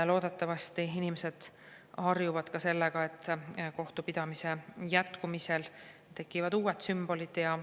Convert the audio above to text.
Loodetavasti inimesed harjuvad ka sellega, et kohtupidamise jätkumisel tekivad uued sümbolid.